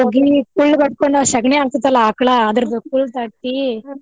ಹೋಗಿ ಕುಳ್ಳ್ ಬಡ್ಕೊಂಡ ಆ ಷೆಗಣಿ ಹಾಕ್ತೇತಲ್ಲಾ ಆಕಳಾ ಕುಳ್ಳ್ ತಟ್ಟಿ.